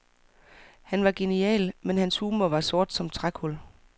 Han var genial, men hans humor var sort som trækul.